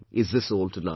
Is this all to life